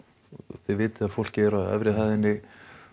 þið vitið að fólkið er á efri hæðinni